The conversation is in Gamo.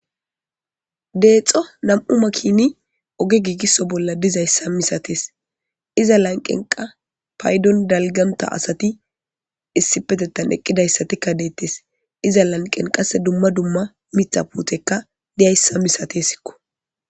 Deexo nam'u makini oge giigiso bolla dizayssa misatees iza lanqqenkka payddon dalgganta asati issipetethan eqqidayssatikka de'etes asati dees iza lanqqen qasse dumma dumma miththa puutey diyayssa misateesiko.